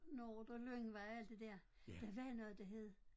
Nordre Lyngvej og alt det der der var noget der hed